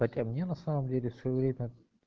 хотя мне на самом деле всё время